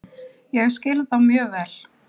Ég skil þá mjög vel.